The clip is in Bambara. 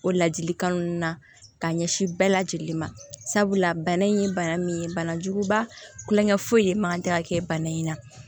O ladilikan ninnu na ka ɲɛsin bɛɛ lajɛlen ma sabula bana in ye bana min ye banajuguba tulonkɛ foyi man kan tɛ ka kɛ bana in na